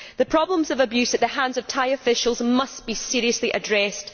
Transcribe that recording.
The problems of abuse at the hands of Thai officials must be seriously addressed.